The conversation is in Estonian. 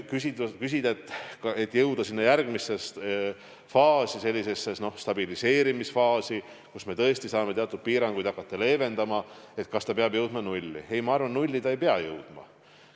Kui küsida, kas sinna järgmisse faasi, sellisesse stabiliseerimisfaasi, kus me tõesti saame teatud piiranguid hakata leevendama, jõudmiseks ta peab jõudma nulli, siis ei, ma arvan, et nulli ta ei pea jõudma.